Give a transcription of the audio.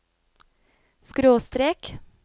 skråstrek